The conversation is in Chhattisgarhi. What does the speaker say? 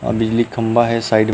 वहाँ बिजली का खम्भा है साइड मे--